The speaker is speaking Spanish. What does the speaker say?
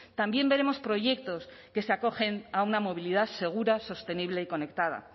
también veremos proyectos que se acogen a una movilidad segura sostenible y conectada